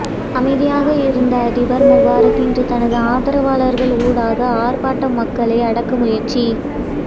அமைதியாக இருந்த அதிபர் முபாரக் இன்று தனது ஆதரவாளர்கள் ஊடாக ஆர்ப்பாட்ட மக்களை அடக்க முயற்சி